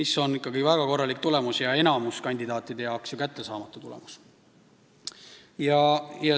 See on väga korralik tulemus ja enamiku kandidaatide jaoks kättesaamatu.